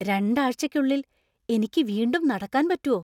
രണ്ടാഴ്ചയ്ക്കുള്ളിൽ എനിക്ക് വീണ്ടും നടക്കാൻ പറ്റോ ?